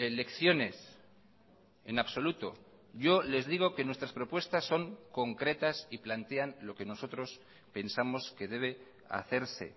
lecciones en absoluto yo les digo que nuestras propuestas son concretas y plantean lo que nosotros pensamos que debe hacerse